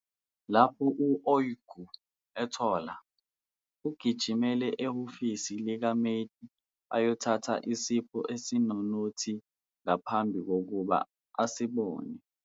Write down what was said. Lapho u-Öykü ethola, ugijimela ehhovisi likaMete ayothatha isipho esinenothi ngaphambi kokuba asibone.